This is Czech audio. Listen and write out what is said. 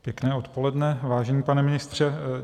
Pěkné odpoledne, vážený pane ministře.